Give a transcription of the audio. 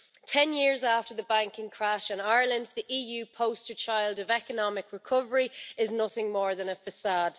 Ten years after the banking crash in Ireland, the EU poster child of economic recovery is nothing more than a facade.